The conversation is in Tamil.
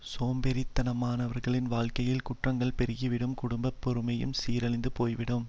சோம்பேறித்தனமானவர்களின் வாழ்க்கையில் குற்றங்களும் பெருகிவிடும் குடும்ப பெருமையும் சீரழிந்து போய்விடும்